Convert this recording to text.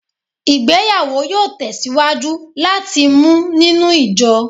Igbeyawo yoo tesiwaju lati mu ninu ijo